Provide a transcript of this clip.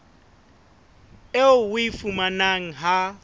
eo o e fumanang ha